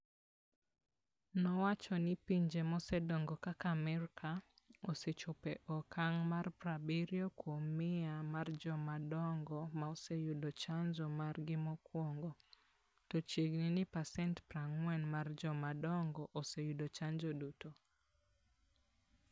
Nowacho ni pinje mosedongo kaka Amerka, osechopo e okang' mar 70 kuom 100 mar joma dongo - ma oseyudo chanjo margi mokwongo, to chiegni ni pasent 40 mar joma dongo oseyudo chanjo duto.